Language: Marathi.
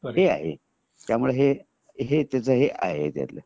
हे आहे त्यामुळे हे आहे त्याच हे आहे